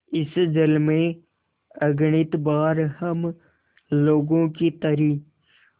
इस जल में अगणित बार हम लोगों की तरी